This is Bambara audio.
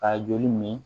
Ka joli min min